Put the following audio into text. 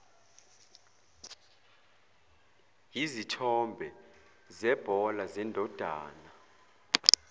yizithombe zebhola zendodana